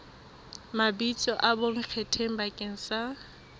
mabitso a bonkgetheng bakeng sa